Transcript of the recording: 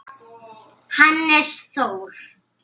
Hannes Þór.